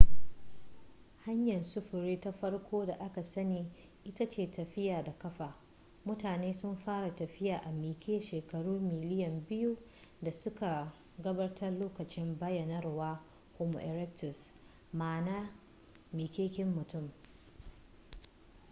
hanyar sufuri ta farko da aka sani ita ce tafiya da ƙafa mutane sun fara tafiya a miƙe shekaru miliyan biyu da suka gabata lokacin bayyanawar homo erectus ma'ana miƙaƙƙen mutum